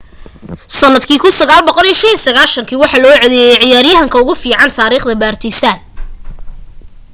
sandkii 1995 waxaa loogu codeeyay ciyaryahanka ugu fican taarikhda partizan